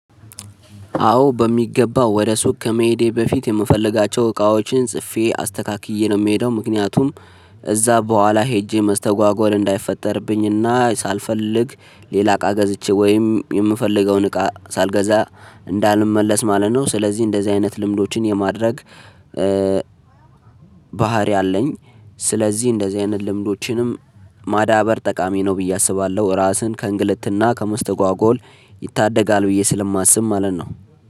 አዎ በሚገባው ወደ ሱቅ ከመሄዴ በፊት የምፈልጋቸው እቃዎችን ጽፌ አስተካክዬ ነው ምሄደው ምክንያቱም እዛ በኋላ ሄጄ መስተጓጎል እንዳይፈጠርብኝና ሳልፈልግ ሌላ እቃ ገዝቼ ወይም የምፈልገውን እቃ ሳልገዛ እንዳልመለስ ማለት ነው። ስለዚህ እንደዚህ አይነት ልምዶችን የማድረግ ባህሪ አለኝ። ስለዚህ እንደዚህ አይነት ልምዶችንም ማዳበር ጠቃሚ ነው ብዬ አስባለሁ ራስን ከእንግልትና ከመስተጓጎል ይታደጋል ብዬ ስለማስብ ማለት ነው።